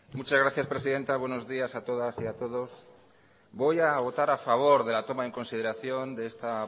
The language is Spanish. muchas gracias presidenta buenos días a todas y a todos voy a votar a favor de la toma en consideración de esta